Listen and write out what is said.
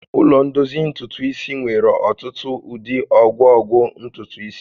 Ụlọ ndozi ntutu isi nwere ọtụtụ ụdị ọgwụgwọ ntutu isi